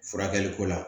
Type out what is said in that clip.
Furakɛli ko la